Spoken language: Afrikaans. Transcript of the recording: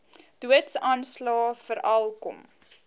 doodsaanslae veral kom